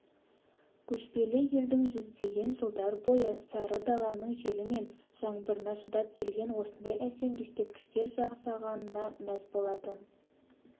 көшпелі елдің жүздеген жылдар бойы сары даланың желі мен жаңбырына шыдап келген осындай әсем ескерткіштер жасағанына мәз болатын